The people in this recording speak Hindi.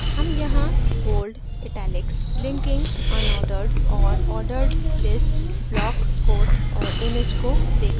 हम यहाँ bold italics linking unordered और ordered lists block quote और image को देख सकते हैं